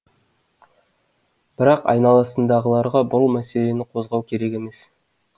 бірақ айналасындағыларға бұл мәселені қозғау керек емес